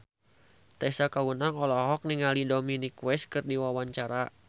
Tessa Kaunang olohok ningali Dominic West keur diwawancara